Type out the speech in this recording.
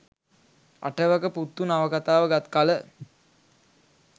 අටවක පුත්තු නවකතාව ගත් කල